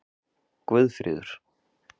Guðfríður